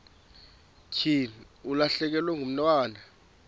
thi ulahlekelwe ngumntwana